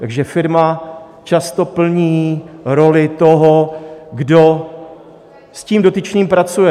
Takže firma často plní roli toho, kdo s tím dotyčným pracuje.